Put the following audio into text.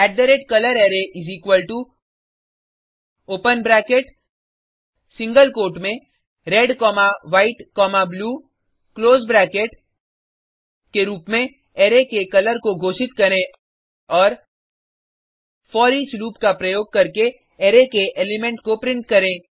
colorArray open bracket single quote में red comma white comma blue close bracket के रुप में अरै के कलर को घोषित करें और फोरिच लूप का उपयोग करके अरै के एलिमेंट को प्रिंट करें